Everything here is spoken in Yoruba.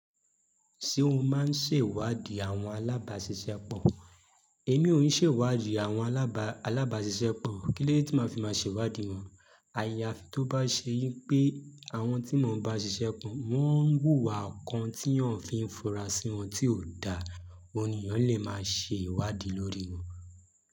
Ṣé o máa ń ṣèwádìí àwọn alábàáṣiṣẹ́ pọ̀? Èmi ò ń ṣèwádìí àwọn alábàáṣiṣẹ́ pọ̀. Kílóde tí màá fi máa ṣèwádìí wọn. Àyàfi tó bá ṣe wí pé àwọn tí mò ń bá ṣiṣẹ́ po, wọ́n ń wùwà kan tí eyan fi ń fura sí wọn tí ò da, òun nì eyan lè máa ṣe ìwádìí lórí wọn.